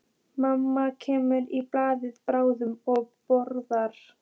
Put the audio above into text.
Mamma kemur í bæinn bráðum og borgar.